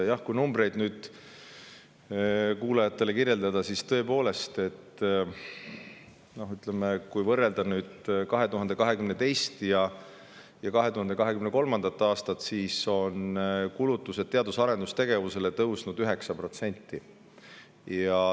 Jah, kui kuulajatele numbreid kirjeldada, siis tõepoolest, ütleme, võrreldes 2022. ja 2023. aastaga on näha, et kulutused teadus- ja arendustegevusele on tõusnud 9%.